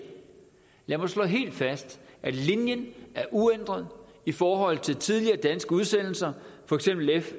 jeg må slå helt fast at linjen er uændret i forhold til tidligere danske udsendelser for eksempel f